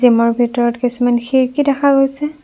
জিমৰ ভিতৰত কিছুমান খিৰিকী দেখা গৈছে।